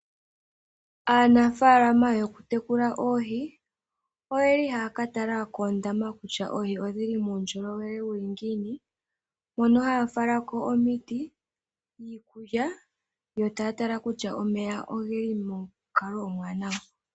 Aanafalama yokutekula oohi oye li haya ka tala koondamba kutya oohi odhi li muundjolowele wu li ngiini hono haya falako omiti niikulya yo taya tala kutya omeya oge li monkalo ombwanawa.